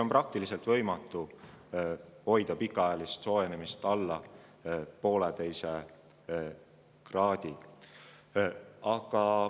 On praktiliselt võimatu hoida pikaajalist soojenemist alla 1,5 kraadi.